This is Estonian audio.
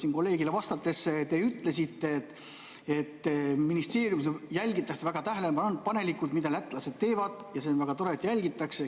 Siin kolleegile vastates te ütlesite, et ministeeriumis jälgitakse väga tähelepanelikult, mida lätlased teevad, ja see on väga tore, et jälgitakse.